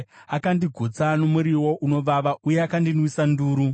Akandigutsa nemiriwo inovava, uye akandinwisa nduru.